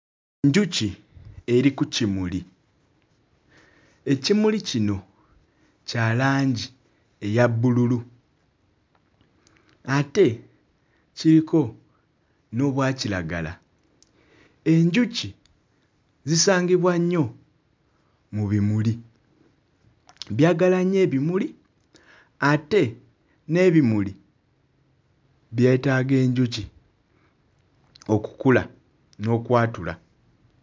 Njuki eri ku kimuli ekimuli kino kya langi eya bbululu ate kiriko n'obwa kiragala enjuki zisangibwa nnyo mu bimuli. Byagala nnyo ebimuli ate n'ebimuli byetaaga enjuki okukula n'okwatula.